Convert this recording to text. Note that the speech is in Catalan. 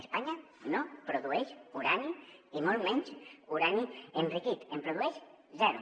espanya no produeix urani i molt menys urani enriquit en produeix zero